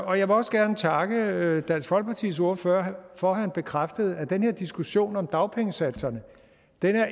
jeg vil også gerne takke dansk folkepartis ordfører for at han bekræftede at den her diskussion om dagpengesatserne